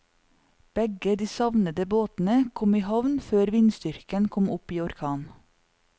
Begge de savnede båtene kom i havn før vindstyrken kom opp i orkan.